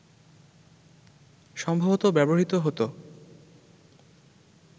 সম্ভবত ব্যবহৃত হত